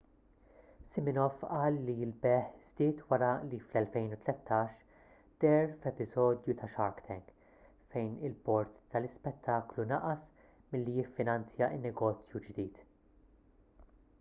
siminoff qal li l-bejgħ żdied wara li fl-2013 deher f'episodju ta' shark tank fejn il-bord tal-ispettaklu naqas milli jiffinanzja n-negozju ġdid